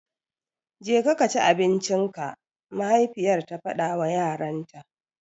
Jeka kaci abincinka! mahaifiyar ta faɗawa yaranta.